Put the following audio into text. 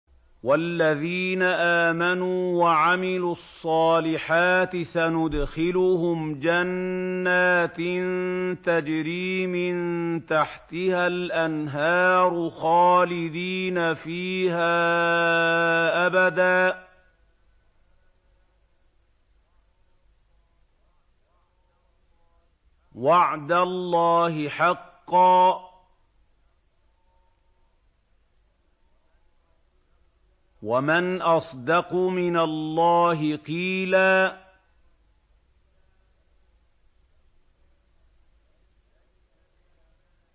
وَالَّذِينَ آمَنُوا وَعَمِلُوا الصَّالِحَاتِ سَنُدْخِلُهُمْ جَنَّاتٍ تَجْرِي مِن تَحْتِهَا الْأَنْهَارُ خَالِدِينَ فِيهَا أَبَدًا ۖ وَعْدَ اللَّهِ حَقًّا ۚ وَمَنْ أَصْدَقُ مِنَ اللَّهِ قِيلًا